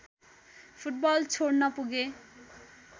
football छोड्न पुगे